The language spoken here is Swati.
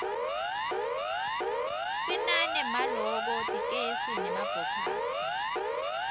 sinane maloko tlkesl nemabhokathi